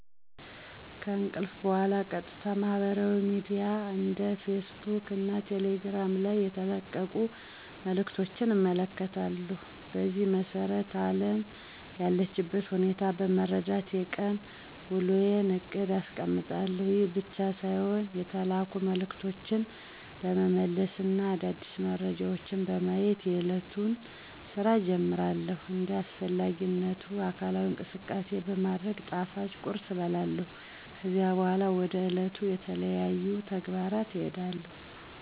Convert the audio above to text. ከእንቅልፍ በኋላ ቀጥታ ማህበራዊ ሚድያ እንደ ፌስ ቡክ እና ቴሌግራም ላይ የተለቀቁ መልዕክቶችን እመለከታለሁ። በዚህም መሰረት አለም ያለችበትን ሁኔታ በመረዳት የቀን ዉሎየን እቅድ አስቀምጣለሁ። ይህ ብቻ ሳይሆን የተላኩ መልዕክቶችን በመመለስ እና አዳዲስ መረጃዎችን በማየት የእለቱን ስራ እጀምራለሁ። እንደ አስፈላጊነቱ አካላዊ እንቅስቃሴ በማድረግ ጣፋጭ ቁርስ እበላለሁ። ከዛ በኋላ ወደ ዕለቱ ተለያዩ ተግባራት እሄዳለሁ።